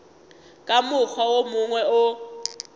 ka mokgwa wo mongwe o